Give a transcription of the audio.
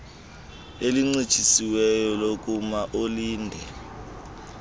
elincitshisiweyo lokuma ulinde